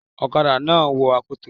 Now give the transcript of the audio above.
Ọlọ́kadà náà wo akoto.